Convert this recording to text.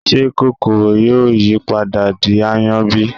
ṣé kòkòrò yóò yí padà di aáyán bí?